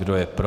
Kdo je pro?